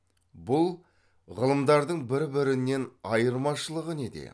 бұл ғылымдардың бір бірінен айырмашылығы неде